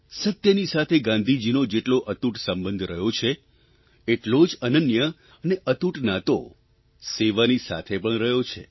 સત્યની સાથે ગાંધીજીનો જેટલો અતૂટ સંબંધ રહ્યો છે એટલો જ અનન્ય અને અતૂટ નાતો સેવાની સાથે પણ રહ્યો છે